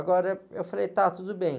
Agora, eu falei, tá, tudo bem.